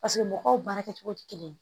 Paseke mɔgɔw baara kɛcogo tɛ kelen ye